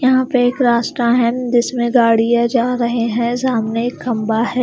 यहां पे एक रास्ता है जिसमें गाड़ियां जा रहे हैं सामने एक खंभा है।